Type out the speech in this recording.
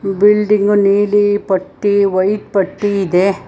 Building ನೀಲಿ ಪಟ್ಟಿ white ಪಟ್ಟಿ ಇದೆ.